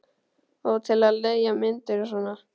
Og til að leigja myndir og svona.